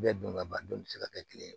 Bɛɛ don ka ban don bɛ se ka kɛ kelen ye